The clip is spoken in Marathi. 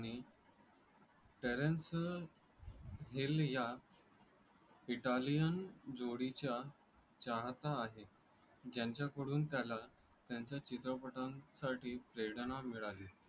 त्याच्या चित्रपटांसाठी प्रेरणा मिळाली.